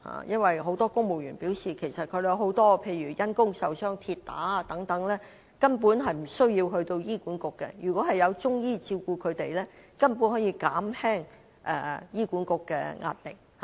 因為很多公務員也表示，因公受傷例如跌打損傷等情況根本無須到醫管局，如果有中醫照顧他們，便可以減輕醫管局的壓力。